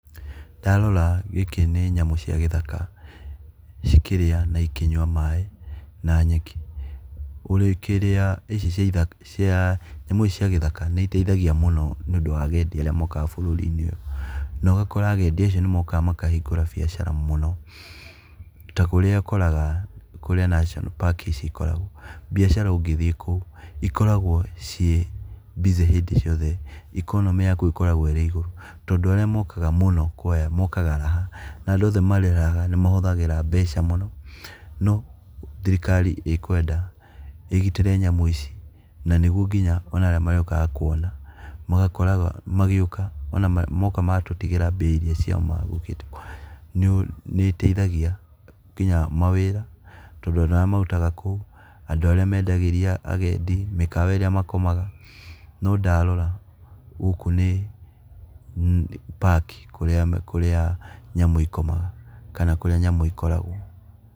Ndarora gĩkĩ nĩ nyamũ cia gĩthaka, cikĩrĩa na ĩkĩnyua maaĩ na nyeki, ũrĩkĩrĩa ici cia nyamũ ici cia gĩthaka nĩ iteithagia mũno nĩ ũndũ wa hagendi arĩa mokaga bũrũri-inĩ ũyũ. Na ũgakora agendi acio nĩ mokaga makahingũra mbiacara mũno, ta kũrĩa ũkoraga kũrĩa National park ici ikoragwo. Mbiacara ũngĩthiĩ kũu ikoragwo ciĩ busy hĩndĩ ciothe, ikonomĩ ya kũu ĩkoragwo ĩrĩ igũrũ tondũ arĩa mokaga kũu mũno kũoya mokaga raha na andũ othe marĩ raha nĩ mahũthagĩra mbeca mũno. No thirikari ĩkwenda ĩgitĩri nyamũ ici na nĩguo nginya onaria marĩũkaga kuona magakora nginya magĩũka moka matũtigira mbia ciao iria magũkĩte nĩ iteithagia nginya mawĩra, tondũ ona aria marutaga kũu, andũ arĩa mendagĩria agendi mikawa ĩrĩa makomaga. No ndarora gũkũ nĩ, park kũrĩa nyamũ ikomaga kana kũrĩa nyamũ ikoragwo.